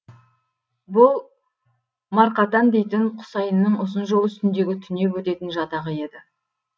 бұл марқатан дейтін құсайынның ұзын жол үстіндегі түнеп өтетін жатағы еді